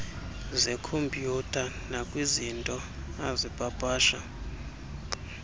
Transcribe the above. zekhompyutha nakwizinto azipapasha